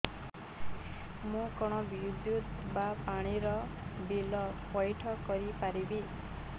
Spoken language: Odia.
ମୁ କଣ ବିଦ୍ୟୁତ ବା ପାଣି ର ବିଲ ପଇଠ କରି ପାରିବି